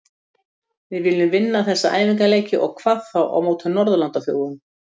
Við viljum vinna þessa æfingaleiki og hvað þá á móti Norðurlandaþjóðunum.